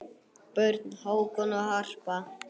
Börn: Hákon og Harpa.